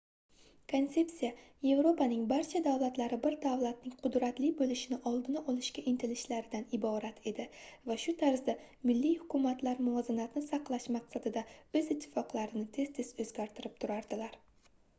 konsepsiya yevropaning barcha davlatlari bir davlatning qudratli boʻlishing oldini olishga intilishlaridan iborat edi va shu tarzda milliy hukumatlar muvozanatni saqlash maqsadida oʻz ittifoqlarini tez-tez oʻzgartirib turardilar